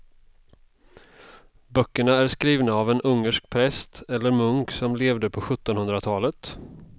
Böckerna är skrivna av en ungersk präst eller munk som levde på sjuttonhundratalet.